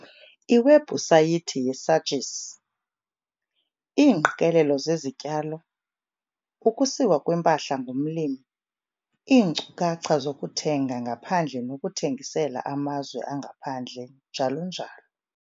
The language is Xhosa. Iwebhusayithi yeSAGIS- Iingqikelelo zezityalo, ukusiwa kwempahla ngumlimi, iinkcukacha zokuthenga ngaphandle nokuthengisela amazwe angaphandle njalo njalo.